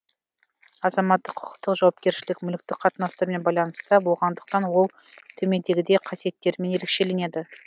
азаматтық құқықтық жауапкершілік мүліктік қатынастармен байланыста болғандықтан ол төмендегідей қасиеттерімен ерекшеленеді